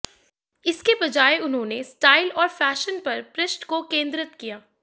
इसके बजाय उन्होंने स्टाइल और फ़ैशन पर पृष्ठ को केंद्रित किया